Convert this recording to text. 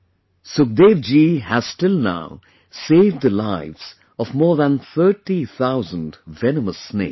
Sukhdevji has till now saved the lives of more than 30 thousand venomous snakes